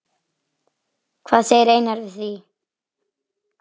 Hvað segir Einar við því?